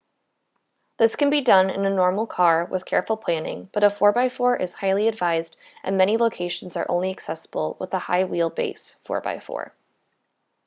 this can be done in a normal car with careful planning but a 4x4 is highly advised and many locations are only accessible with a high wheel base 4x4